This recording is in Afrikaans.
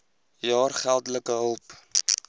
jaar geldelike hulp